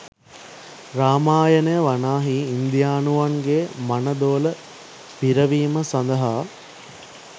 රාමායනය වනාහි ඉන්දියානුවන්ගේ මනදොල පිරවීම සඳහා